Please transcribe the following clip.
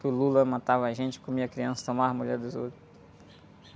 que o Lula matava a gente, comia a criança, tomava a mulher dos outros.